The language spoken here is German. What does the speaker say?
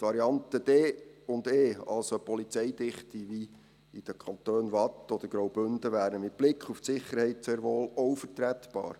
Die Varianten D und E, also eine Polizeidichte wie in den Kantonen Waadt oder Graubünden, wären mit Blick auf die Sicherheit sehr wohl auch vertretbar.